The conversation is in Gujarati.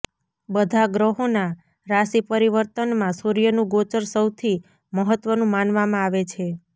બધા ગ્રહોના રાશિપરિવર્તનમાં સૂર્યનું ગોચર સૌથી મહત્વનું માનવામાં છે